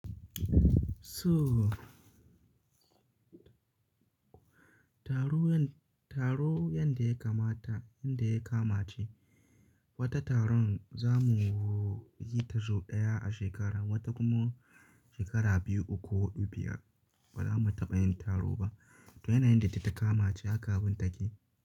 Soo, taro yan- taro yanda ya kamata yanda ya kama ce, wata taron za mu yi ta sau ɗaya a shekara, wata kuma shekara biyu uku ko dubu biyar ba za mu taɓa yin taro ba. To yana yanda ta kama ce haka abun take.